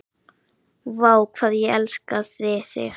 Vá, hvað ég elskaði þig.